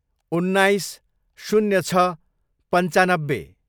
उन्नाइस, शून्य छ, पन्चानब्बे